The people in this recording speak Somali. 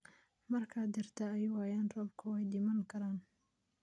Marka dhirta ay waayaan roobka way dhiman karaan.